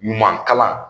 Ɲuman kalan